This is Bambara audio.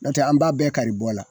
N'o tɛ an b'a bɛɛ kari bɔ la